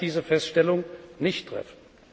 Leider kann ich diese Feststellung nicht treffen.